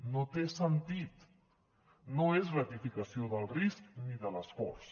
no té sentit no és gratificació del risc ni de l’esforç